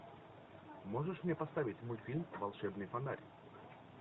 можешь мне поставить мультфильм волшебный фонарь